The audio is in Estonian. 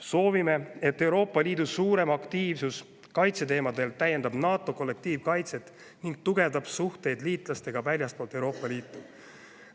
Soovime, et Euroopa Liidus suurem aktiivsus kaitseteemadel täiendaks NATO kollektiivkaitset ning tugevdaks suhteid liitlastega väljastpoolt Euroopa Liitu.